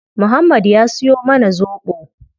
Muhammad ya siyo mana zobo